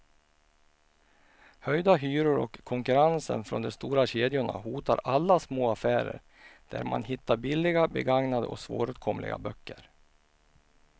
Höjda hyror och konkurrens från de stora kedjorna hotar alla små affärer där man hittar billiga, begagnade och svåråtkomliga böcker.